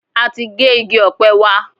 A ti gé igi ọ̀pẹ wa.